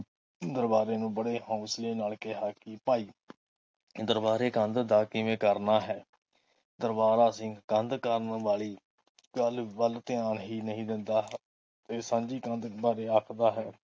ਦਰਬਾਰੇ ਨੂੰ ਬੜੇ ਹੌਸਲੇ ਨਾਲ ਕਿਹਾ ਕਿ ਭਾਈ ਦਰਬਾਰੇ ਕੰਧ ਦਾ ਕਿਵੇਂ ਕਰਨਾ ਹੈ ਦਰਬਾਰਾ ਸਿੰਘ ਕੰਧ ਕਰਨ ਵਾਲੀ ਗੱਲ ਵੱਲ ਧਿਆਨ ਹੀ ਨਹੀਂ ਦਿੰਦਾ ਹੈ। ਫਿਰ ਸਾਂਝੀ ਕੰਧ ਬਾਰੇ ਆਖਦਾ ਹੈ